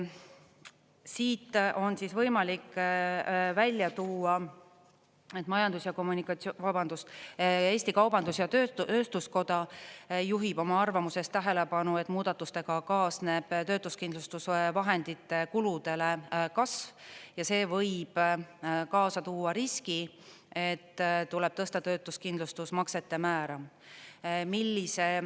Siit on võimalik välja tuua, Eesti Kaubandus-Tööstuskoda juhib oma arvamuses tähelepanu, et muudatustega kaasneb töötuskindlustusvahendite kulude kasv ja see võib kaasa tuua riski, et tuleb tõsta töötuskindlustusmaksete määra.